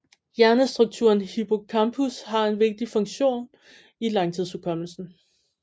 Hjernestrukturen hippocampus har en vigtig funktion i langtidshukommelsen